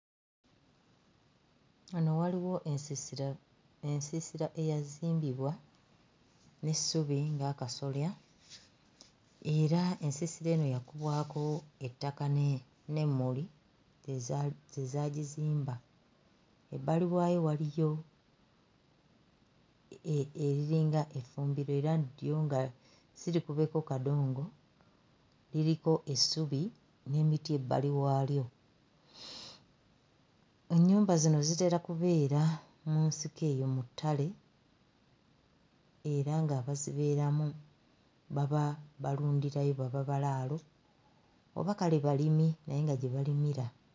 Wano waliwo ensiisira ensiisira eyazimbibwa n'essubi ng'akasolya era ensiisira eno yakubwako ettaka ne n'emmuli eza ezaagizimba. Ebbali waayo waliyo eriringa effumbiro era ddyo nga sirikubeko kadongo, liriko essubi n'emiti ebbali waalyo. Ennyumba zino zitera kubeera mu nsiko eyo mu ttale era ng'abazibeeramu baba balundirayo baba balaalo oba kale balimi naye nga gye balimira.